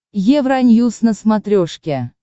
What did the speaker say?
евроньюс на смотрешке